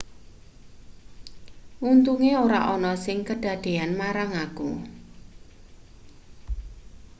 untunge ora ana sing kedadean marang aku